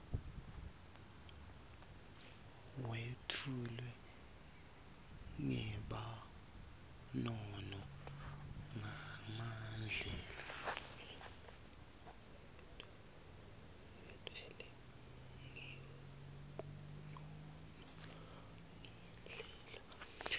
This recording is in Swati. wetfulwe ngebunono nangendlela